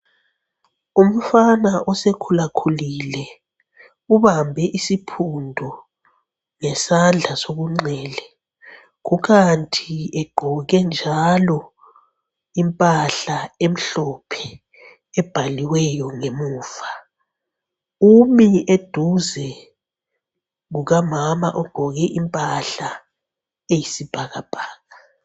Umfana osekhulakhulile ubambe isiphundu ngesandla sokunxele. Kukanti egqoke njalo impahla emhlophe ebhaliweyo ngemuva. Umi eduze kukamama ogqoke impahla eyisibhakabhaka.